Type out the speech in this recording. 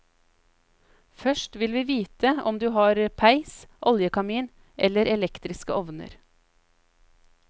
Først vil vi vite om du har peis, oljekamin eller elektriske ovner.